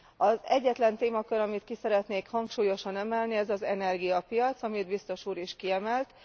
Az egyetlen témakör, amit ki szeretnék hangsúlyosan emelni ez az energiapiac, amit biztos úr is kiemelt.